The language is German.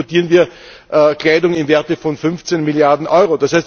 Jährlich importieren wir Kleidung im Wert von 15 Milliarden EUR.